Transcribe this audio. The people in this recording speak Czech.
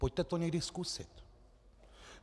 Pojďte to někdy zkusit.